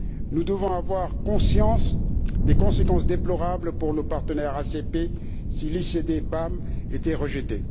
Nous devons avoir conscience des conséquences déplorables pour nos partenaires ACP si l'ICD MAB était rejeté.